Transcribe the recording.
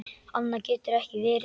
Annað getur ekki verið.